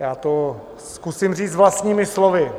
já to zkusím říct vlastními slovy.